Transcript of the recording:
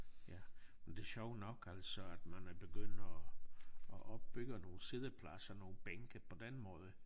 Ja men det sjov nok altså at man er begynd og og opbygge nogle siddepladser nogle bænke på den måde